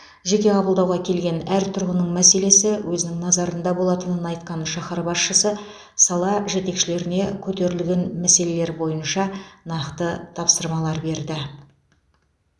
жеке қабылдауға келген әр тұрғынның мәселесі өзінің назарында болатынын айтқан шаһар басшысы сала жетекшілеріне көтерілген мәселелер бойынша нақты тапсырмалар берді